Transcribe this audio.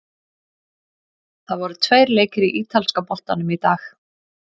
Það voru tveir leikir í ítalska boltanum í dag.